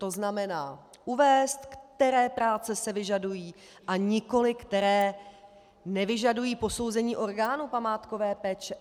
To znamená, uvést, které práce se vyžadují, a nikoliv které nevyžadují posouzení orgánu památkové péče.